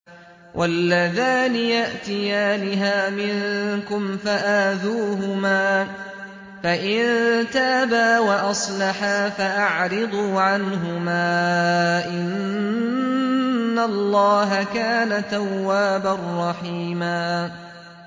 وَاللَّذَانِ يَأْتِيَانِهَا مِنكُمْ فَآذُوهُمَا ۖ فَإِن تَابَا وَأَصْلَحَا فَأَعْرِضُوا عَنْهُمَا ۗ إِنَّ اللَّهَ كَانَ تَوَّابًا رَّحِيمًا